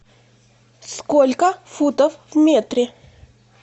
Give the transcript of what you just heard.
сколько футов в метре